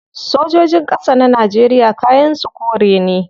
Sojojin kasa na Najeriya kayan su kore ne